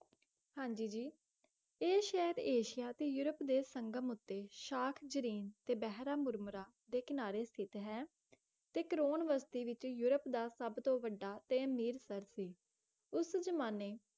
ਹਾਂ ਜੀ ਜੀ ਇਹ ਸ਼ਹਿਰ ਏਸ਼ੀਆ ਤੇ ਯੂਰੋਪ ਦੇ ਸੰਗਮ ਉੱਤੇ ਸ਼ਾਖ ਜਰੀਨ ਤੇ ਬਹਿਰਮ ਮੁਰਮਰਾ ਦੇ ਕਿਨਾਰੇ ਸਥਿਤ ਹੈ ਇਹ ਤੇ ਕਰੋਨਵਸ ਦੇ ਵਿੱਚ ਯੂਰੋਪ ਦਾ ਸਭ ਤੋਂ ਵੱਢਾ ਤੇ ਅਮੀਰ ਸ਼ਹਿਰ ਸੀ ਉਸ ਜਮਾਨੇ